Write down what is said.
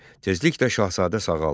Tezliklə şahzadə sağaldı.